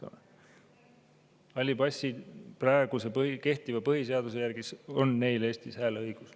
Halli passi omanikel on praegu kehtiva põhiseaduse järgi Eestis hääleõigus.